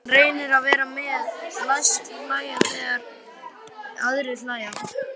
Hann reynir að vera með, læst hlæja þegar aðrir hlæja.